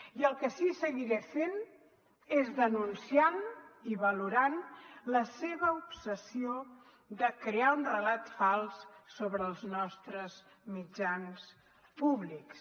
i el que sí seguiré fent és denunciant i valorant la seva obsessió de crear un relat fals sobre els nostres mitjans públics